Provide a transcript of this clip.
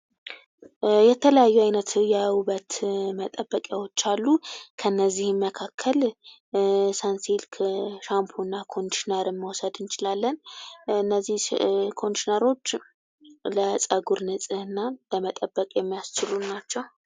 የተለያዩ አይነት የውበት መጠበቂዎች አሉ ።ከነዚህም መካከል ሰንሲልክ ሻምፖ ና ኮንዲሽነር መውሰድ እንችላለን። እነዚህ ኮንዲሽነሮች ለፀጉር ንጽህና ለመጠበቅ የሚያስችሉ ናቸው።